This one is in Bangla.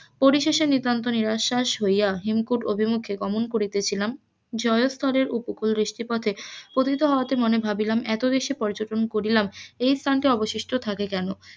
পরিশেষে নিতান্ত নিরাশ্বাস হইয়া হেমকূট অভিমুখে গমন করিতেছিলাম, জয়স্থলের উপকূল দৃষ্টিপথে ক্ষুধিত হওয়াতে মনে ভাবিলাম, এত দেশে পর্যটন করিলাম এই স্থানটি অবশিষ্ট থাকে কেন,